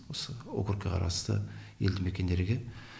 осы округке қарасты елді мекендерге